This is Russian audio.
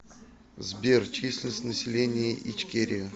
сбер численность населения ичкерия